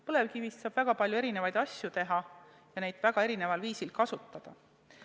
Põlevkivist saab väga palju erinevaid asju teha ja neid väga erineval viisil kasutada.